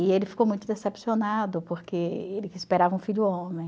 E ele ficou muito decepcionado, porque ele esperava um filho homem.